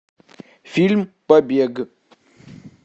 фильм побег